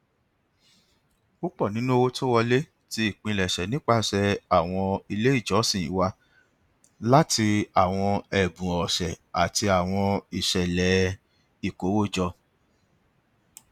púpọ nínú owó tó wọlé ti ipilẹṣẹ nipasẹ awọn ile ijọsin wa lati awọn ẹbun ọsẹ ati awọn iṣẹlẹ ikowojo